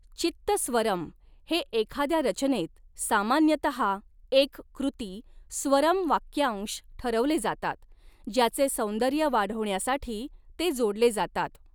चित्तस्वरम हे एखाद्या रचनेत, सामान्यतः एक कृती, स्वरम वाक्यांश ठरवले जातात, ज्याचे सौंदर्य वाढविण्यासाठी ते जोडले जातात.